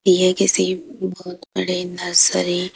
यह किसी बहुत बड़ी नर्सरी --